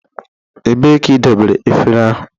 Ebee ka idobere efere ahụ?